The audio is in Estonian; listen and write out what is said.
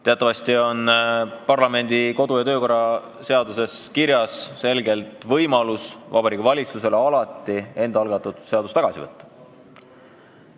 Teatavasti on Riigikogu kodu- ja töökorra seaduses selgelt kirjas võimalus, et Vabariigi Valitsus saab enda algatatud eelnõu alati tagasi võtta.